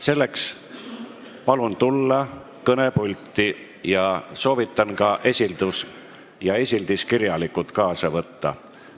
Selleks palun tulla kõnepulti ja soovitan ka kirjaliku esildise kaasa võtta.